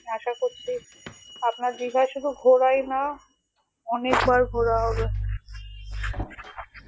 আশা করছি আপনার দীঘা শুধু ঘোরায় না অনেকবার ঘোরা হবে